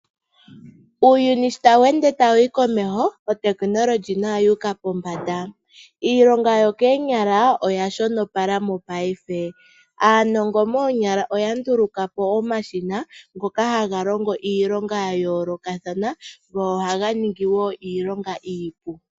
Uuyuni sho tawu ende tawu yi komeho, otekinolohi nayo oyuuka pombanda. Iilonga yokoonyala oya shono pala mopaife. Aanongo moonyala oya ndulukapo omashina ngoka haga longo iilonga ya yoolokathana go ohaga ningi woo iilonga iipu.